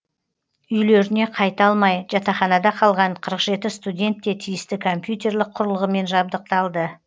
үйлеріне қайта алмай жатақханада қалған қырық жеті студент те тиісті компьютерлік құрылғымен жабдықталды